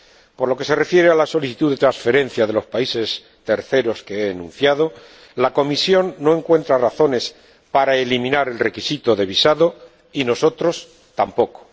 Por lo que se refiere a la solicitud de transferencia de los países terceros que he enunciado, la Comisión no encuentra razones para eliminar el requisito de visado y, nosotros, tampoco.